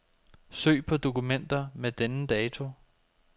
Søg på dokumenter med denne dato.